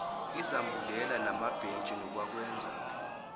izambulela namabhentshi nokwakwenza